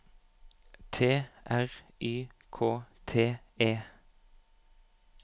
T R Y K T E